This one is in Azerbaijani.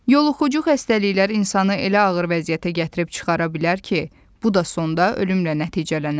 Yoluxucu xəstəliklər insanı elə ağır vəziyyətə gətirib çıxara bilər ki, bu da sonda ölümlə nəticələnər.